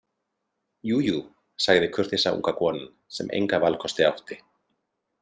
Jújú, sagði kurteisa unga konan sem enga valkosti átti.